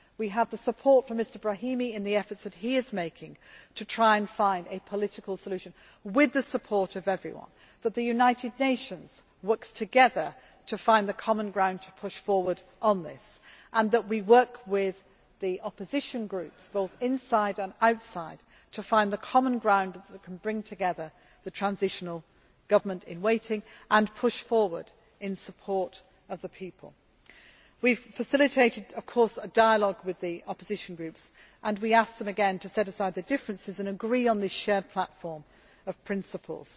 We have the support from Mr Brahimi in the efforts that he is making to try and find a political solution with the support of everyone, so that the United Nations works together to find the common ground to push forward on this and that we work with the opposition groups, both inside and outside, to find the common ground that can bring together the transitional government in waiting and push forward in support of the people. We have facilitated a dialogue with the opposition groups and we ask them again to set aside their differences and agree on this shared platform of principles,